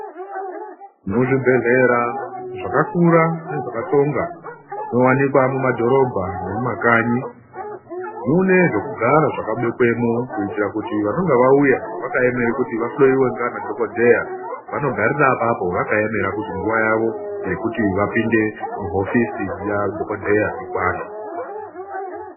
Muzvibhedhlera zvakakura nezvakatsonga zvinowanikwa mumadhorobha nemumakanyi munezvekugara zvakabekwemo kuitira kuti vanenge vauya vakaemere kuti vahloyiwe ngana dhogodheya vanogarira apapo vakaemera kuti nguva yavo yekuti vapinde muhofisi yadhogodheya ikwane.